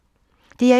DR1